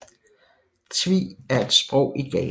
Twi er et sprog i Ghana